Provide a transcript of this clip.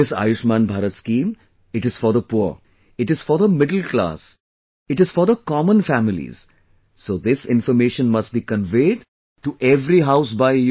This Ayushman Bharat scheme, it is for the poor, it is for the middle class, it is for the common families, so this information must be conveyed to every house by You